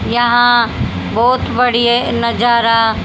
यहां बहोत बड़ी है नजारा--